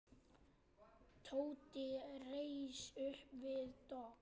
Tóti reis upp við dogg.